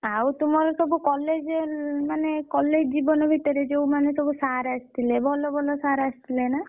ଆଉ ତୁମର ସବୁ college ମାନେ college ଜୀବନ ଭିତରେ ଯୋଉ ମାନେ ସବୁ sir ଆସିଥିଲେ ଭଲ ଭଲ sir ଆସିଥିଲେ ନା?